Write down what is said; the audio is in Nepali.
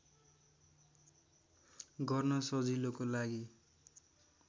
गर्न सजिलोको लागि